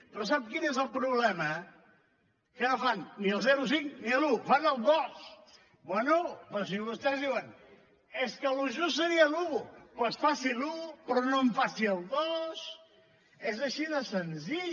però sap quin és el problema que no fan ni el zero coma cinc ni l’un fan el dos bé però si vostès diuen és que el just seria l’un doncs faci l’un però no em faci el dos és així de senzill